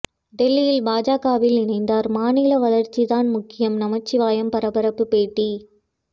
டெல்லியில் பாஜகவில் இணைந்தார் மாநில வளர்ச்சி தான் முக்கியம் நமச்சிவாயம் பரபரப்பு பேட்டி